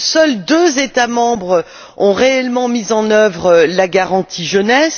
Seuls deux États membres ont réellement mis en œuvre la garantie pour la jeunesse.